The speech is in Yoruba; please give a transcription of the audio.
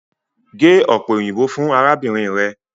Ge ope oyinbo fun arabinrin rẹ!